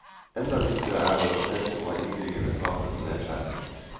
Enda viktigere er det å se på hva innbyggerne taper på nedskjæringen.